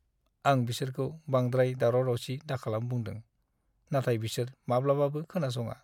आं बिसोरखौ बांद्राय दावराव-दावसि दाखालाम बुंदों, नाथाय बिसोर माब्लाबाबो खोनासङा!